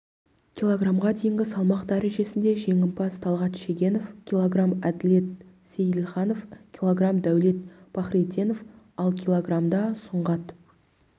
килограммға дейінгі салмақ дәрежесінде жеңімпаз талғат шегенов килограмм әділет сейілханов килограмм дәулет пахриденов ал килограммда сұңғат